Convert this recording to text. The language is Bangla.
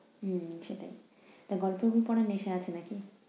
হুম সেটাই। তো গল্পের বইতো অনেক বেশি আছে নাকি?